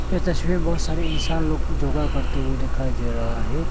इस तस्वीर में बहोत सारे इंसान लोग भी योगा करते हुए दिखाई दे रहा है।